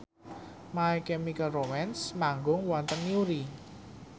My Chemical Romance manggung wonten Newry